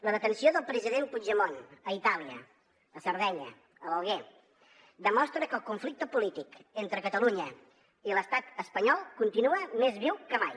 la detenció del president puigdemont a itàlia a sardenya a l’alguer demostra que el conflicte polític entre catalunya i l’estat espanyol continua més viu que mai